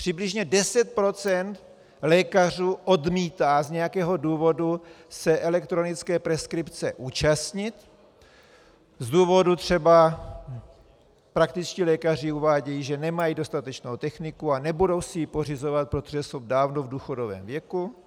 Přibližně 10 % lékařů odmítá z nějakého důvodu se elektronické preskripce účastnit z důvodu třeba - praktičtí lékaři uvádějí, že nemají dostatečnou techniku a nebudou si ji pořizovat, protože jsou dávno v důchodovém věku.